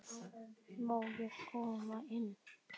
Má ég koma inn?